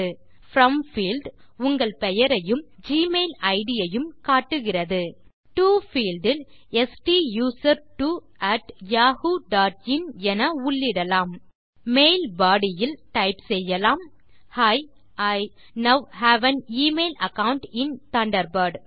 from field உங்கள் பெயரையும் Gmail id ஐயும் காட்டுகிறது டோ பீல்ட் இல் ஸ்டூசர்ட்வோ அட் யாஹூ டாட் இன் என உள்ளிடலாம் மெயில் பாடி யில் டைப் செய்யலாம் hi I now have an email account in Thunderbird